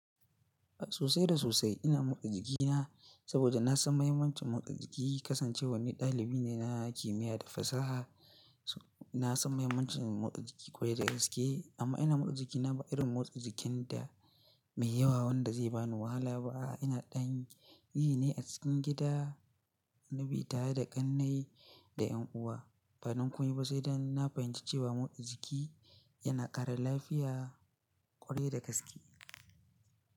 Sosai da sosai ina motsa jikina saboda na san mahimmancin motsa jiki. Kasancewa ni dalibi ne na kimiyya da fasaha, na san mahimmancin motsa jiki ƙwarai da gaske amma ina motsa jikina ba irin motsa jikin da mai yawa wanda zai bani wahala ba. Ina ɗan yi ne a cikin gida, wani bi tare da ƙannai da 'yan uwa. Badon komai ba sai danna fahimci cewa motsa jiki yana ƙara lafiya ƙwarai da gaske.